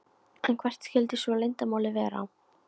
En hvert skyldi svo leyndarmálið vera?